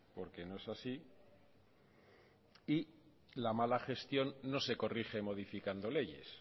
porque no es así y la mala gestión no se corrige modificando leyes